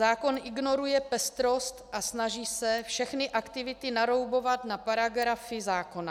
Zákon ignoruje pestrost a snaží se všechny aktivity naroubovat na paragrafy zákona.